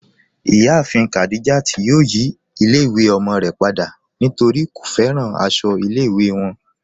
Iyàáfin Khadijat yóò yí ilẹ̀-ìwé ọmọ rẹ̀ pada nítorí kò fẹ́ràn àṣọ ilẹ̀-ìwé wọn.